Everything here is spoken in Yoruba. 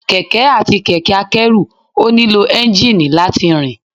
Kẹ̀kẹ́ àti kẹ̀kẹ́ a kẹ́rù ò nílò Ẹ́ńjíìnì láti rìn